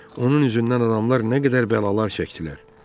Onun üzündən adamlar nə qədər bəlalar çəkdilər.